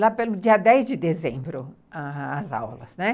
lá pelo dia dez de dezembro, as aulas, né.